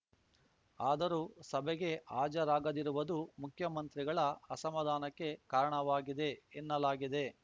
ಆದರೂ ಸಭೆಗೆ ಹಾಜರಾಗದಿರುವುದು ಮುಖ್ಯಮಂತ್ರಿಗಳ ಅಸಮಾಧಾನಕ್ಕೆ ಕಾರಣವಾಗಿದೆ ಎನ್ನಲಾಗಿದೆ